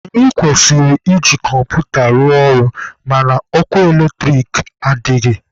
Anyị kwesịrị iji kọmputa rụọ ọrụ mana ọkụ eletrik adịghị.